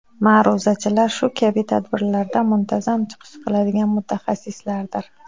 Ma’ruzachilar shu kabi tadbirlarda muntazam chiqish qiladigan mutaxassislardir.